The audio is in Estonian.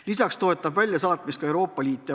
Lisaks toetab väljasaatmist ka Euroopa Liit.